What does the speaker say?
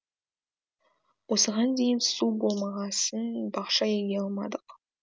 осыған дейін су болмағасын бақша еге алмадық